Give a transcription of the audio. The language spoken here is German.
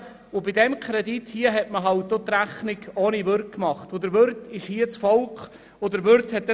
Bei diesem konkreten Kredit hat man die Rechnung ohne das Volk gemacht.